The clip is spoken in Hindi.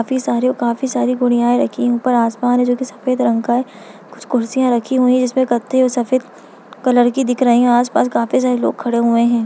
काफी सारे काफी सारी गुड़ियाएं रखीं ऊपर आसमान है जो की सफेद रंग का है कुछ कुर्सियांँ रखी हुई हैं जिसपे कत्थई और सफेद कलर की दिख रही हैं आस पास काफी सारे लोग खड़े हुए हैं।